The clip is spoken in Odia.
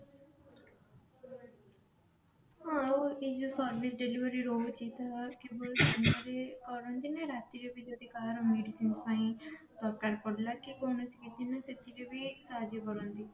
ହଁ ଆଉ ଯୋଉ service delivery ରହୁଛି ତାର ରାତିରେ ବି ଯଦି କାହାର medicine ପାଇଁ ଦରକାର ପଡିଲା କି କଣ ସେଥିରେ ବି ସାହାଜ୍ଯ କରନ୍ତି